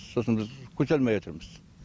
сосын біз көтере алмайатырмыз